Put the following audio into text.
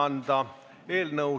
Laulab kontsertkoor.